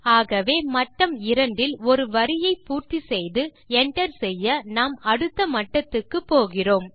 ஆகவே மட்டம் 2 இல் ஒரு வரியை பூர்த்தி செய்து என்டர் செய்ய நாம் அடுத்த மட்டத்துக்கு போகிறோம்